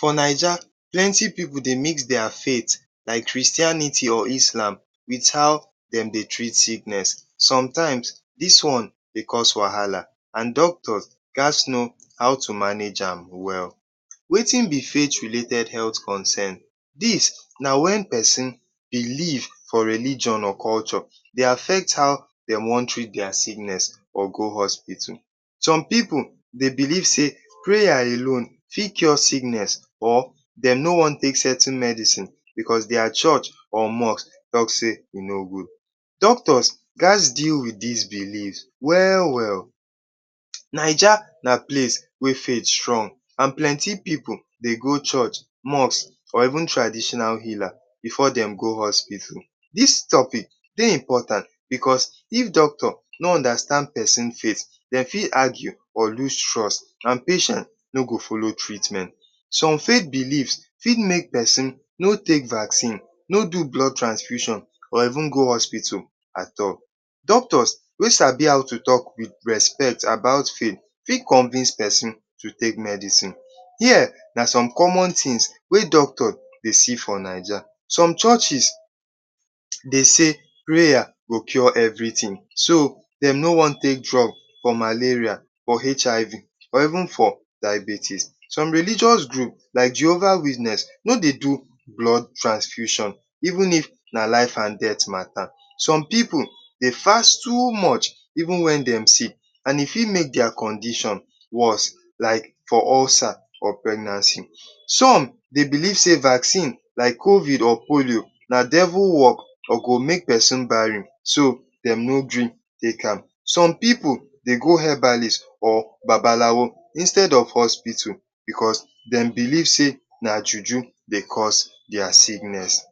For Naija plenty pipu dey mix dia faith like Christianity or Islam with how dem dey treat sickness. Somtime dis one dey cause wahala and doctor ghas no how to manage am well. Wetin be faith related health concern? Dis na e=wen pesin belief for religion or culture dey affect how dem wan treat dia sickness or go hospital. Some pipu dem belief sey, preya alone fit cure sickness or dem no wan take certain medicine because dia church or mosque talk sey e no gud, doctor ghas deal with dis belief we-well. Naija na place wey faith strong and plenty dey go church, mosque and traditional heala before dem go hospital. Dis topic dey important because if doctor no understand pesin faith, dem fit argue or loose trust and patient no go folo treatment. Som faith belief fit make pesin no take vaccine, no do blood transfusion or even go hospital at all. Doctor wey sabi how to talk with respect about faith, fit convince pesin to take medicine. Here na som common tin weyd octor dey see for Naija: Som churches dem sey preya dey cure every tin, so, dem no wan take drug for malaria, for HIV or even for diabetes.som religious group like jehova witness, no dey do blood transfusion, even if na life and death mata. Some pipu dey fast too much even wen dem sick and e fit make dia condition worse like for ulcer or pregnancy, som dey belief sey vaccine like COVID or polio na devil work or e go make pesin barren so dem no gree take am. Som pipu dey go habalis or babalawo instead of hospital because no dem belief sey, na juju dey cause dia sickness.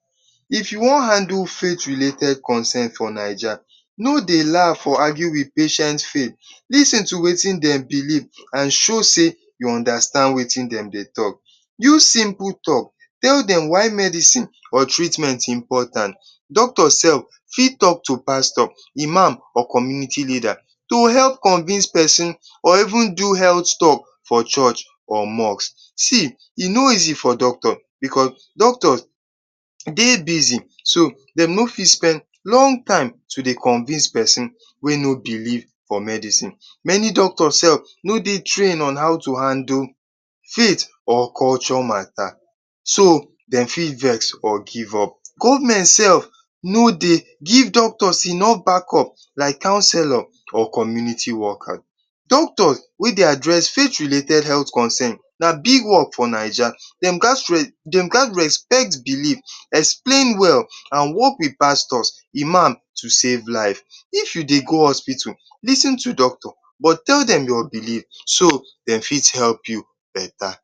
If you wan handle faith related concern for Naija, dey argur or laugh patient faith.lis ten to wetin dem belief and show sey tou understand wetin dem dey talk. Use simple talk tell dem why medicine or treatment important. Doctor self fit talk to pastor, imam and community leader to help convince pesin or even do ealt tak=lk for church or mosque, see e no easy for doctor because doctor dey bizi dm no fit spend long time to dey convince pesin wey no belief for medicine. Many doctor sef no dey train on how to handle faith or culture mata, so, faith dem fit vex or give up. Government sef no dey give doctor enof back up like counselor or community worker. Doctor wey dey address faith related condition an big work for Naija, dem ghas respect belief, explain well and work with pastors, imams to safe life. If you dey go hospital, lis ten to doctor and tell dem your belief, so dem fit help you beta